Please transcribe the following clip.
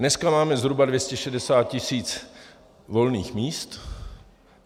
Dneska máme zhruba 260 tisíc volných míst.